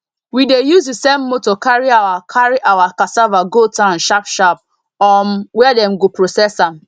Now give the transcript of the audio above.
we dey use the same motor carry our carry our cassava go town sharp sharp um where dem go process am